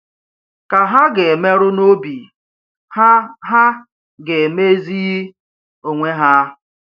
Kà ha gà-emerụ n’obi, ha ha gà-emezighị onwe ha.